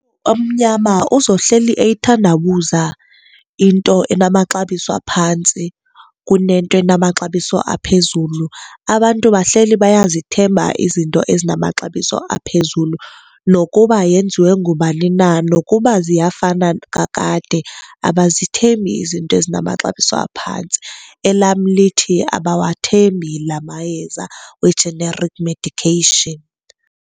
Omnyama uzohleli eyithandabuza into enamaxabiso aphantsi kunento enamaxabiso aphezulu. Abantu bahleli bayazithemba izinto ezinamaxabiso aphezulu nokuba yenziwe ngubani na, nokuba ziyafana kakade abazithembi izinto ezinamaxabiso aphantsi. Elam lithi abawathembi la mayeza we-generic medication.